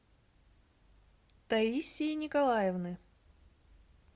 таисии николаевны